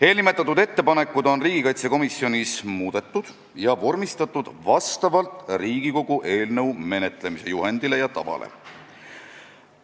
Eelnimetatud ettepanekud on riigikaitsekomisjonis muudetud ja vormistatud Riigikogu eelnõu menetlemise juhendi ja tava alusel.